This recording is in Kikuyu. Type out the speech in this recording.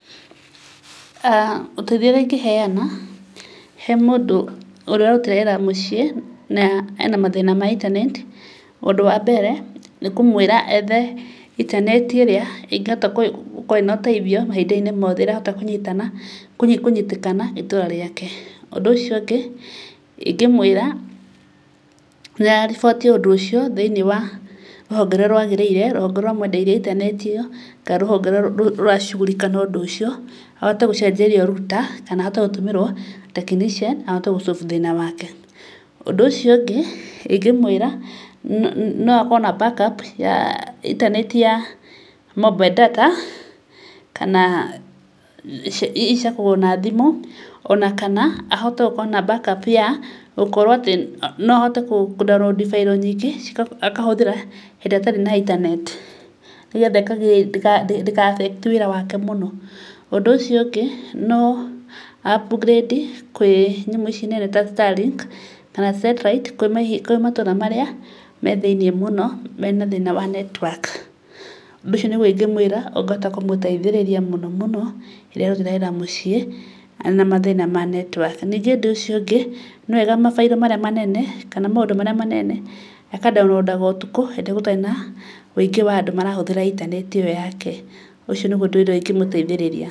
Ũteithio ũrĩa ingĩhena he mũndũ ũrarutĩra wĩra mũciĩ na ena mathĩna ma intaneti ũndũ wa mbere nĩ kũmwĩra ethe intaneti ĩrĩa ĩngĩhota gũkorwo ĩna ũteithio mahinda~inĩ mothe, ĩrahota kũnyitĩkana ĩtũra rĩake. Ũndũ ũcio ũngĩ ingĩmwĩra ariboti ũndũ ũcio thĩ~inĩ wa rũhonge rũrĩa rwagĩrĩire, rũhonge rũrĩa rwa mwendeirie internet ĩyo kana rũhonge rũrĩa rũracugurika na ũndũ ũcio. Ahote gũcenjerio router kana ahote gũtũmĩrwo technician ahote gũ solve thĩna wake. Ũndũ ũcio ũngĩ ingĩmwĩra no akorwo na backup ya internet, mobile data kana ici cia kũgũrwo na thimũ ona kana ahote gũkorwo na backup ya gũkorwo atĩ no ahote kũ download bairo nyingĩ akahũthĩra hĩndĩ ĩrĩa atarĩ na internet nĩ getha ndĩka affect wĩra wake mũno. Ũndũ ũcio ũngĩ no a upgrade kwĩ nyamu ici nene ta Starlink kana satellite kwĩ matũra marĩa me thĩ~inĩ mũno mena thĩna wa network. Ũndũ ũcio nĩgwo ingĩmwĩra ũngĩhota kũmũteithĩrĩria mũno mũno hĩndĩ ĩrĩa ararutĩra wĩra mũciĩ ena mathĩna ma network. Ningĩ ũndũ ũcio ũngĩ nĩwega mabairo marĩa manene kana maũndũ marĩa manene aka ndaũnurondaga ũtukũ hĩndĩ ĩrĩa gũtarĩ na wĩngĩ wa andũ marahũthĩra internet ĩyo yake. Ũcio nĩguo ũndũ ũrĩa ingĩ mũteithĩrĩria.